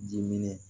Dimin